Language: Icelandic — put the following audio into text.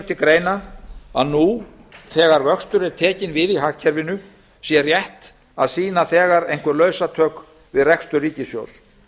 til greina að nú þegar vöxtur er tekinn við í hagkerfinu sé rétt að sýna einhver lausatök við rekstur ríkissjóðs